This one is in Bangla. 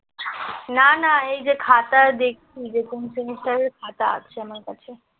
না না এই যে খাতা দেখছি যে কোন সেমিস্টারের খাতা আছে আমার কাছে